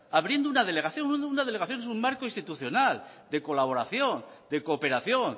abriendo una delegación una delegación es un marco institucional de colaboración de cooperación